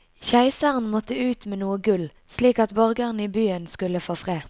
Keiseren måtte ut med noe gull, slik at borgerne i byen skulle få fred.